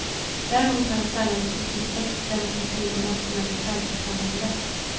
Däremot har han sällan visat respekt för demokrati och nationell självbestämmanderätt.